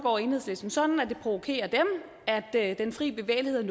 og enhedslisten sådan at det provokerer dem at den frie bevægelighed